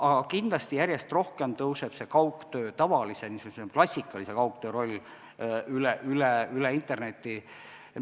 Aga kindlasti järjest rohkem tõuseb tavalise, klassikalise, üle interneti kaugtöö roll.